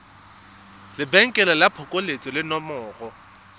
lebenkele la phokoletso le nomoro